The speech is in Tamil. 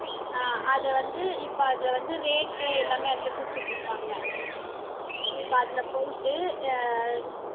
ஆஹ் அதை வந்து இப்ப அதுல வந்து rate எல்லாமே அதுல குடுத்துட்டு இருப்பாங்க இப்ப அதுல போயிட்டு அஹ்